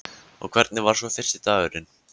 Og hvernig var svo fyrsti dagurinn?